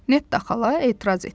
Netta xala etiraz etdi.